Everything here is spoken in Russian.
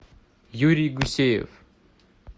юрий гусеев